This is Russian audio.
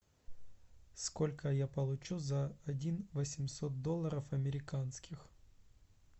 сколько я получу за один восемьсот долларов американских